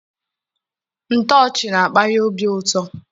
Ntọchi na-akpanye obi ụtọ.